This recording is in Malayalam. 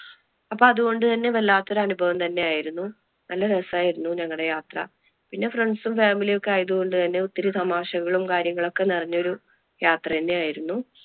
അപ്പൊ അതുകൊണ്ട് തന്നെ വല്ലാത്ത ഒരു അനുഭവം തന്നെ ആയിരുന്നു നല്ല രസം ആയിരുന്നു ഞങ്ങളുടെ യാത്ര. പിന്നെ friends, family ഒക്കെ ആയതുകൊണ്ട് തന്നെ ഒത്തിരി തമാശകളും കാര്യങ്ങളും ഒക്കെ നിറഞ്ഞ ഒരു യാത്ര തന്നെ ആയിരുന്നു.